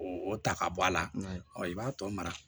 O o ta ka bɔ a la ɔ i b'a tɔ mara